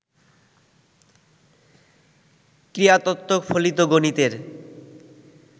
ক্রীড়া তত্ত্ব ফলিত গণিতের